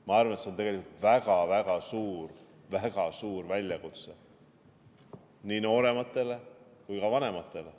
Ma arvan, et see on tegelikult väga-väga suur, väga suur väljakutse nii noorematele kui ka vanematele.